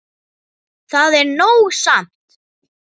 Það er nóg samt.